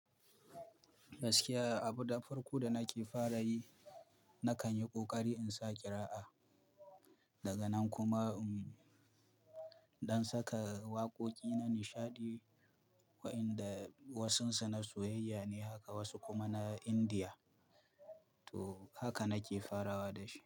Gaskiya abuda farko da nake fara yi nakan yi ƙoƙari in sa kira'a. Daga nan kuma iɗan saka waƙoƙi na nishaɗi wa'inda wasunsa na soyayya ne haka wasu kuma na Indiya. To haka nake farawa da shi.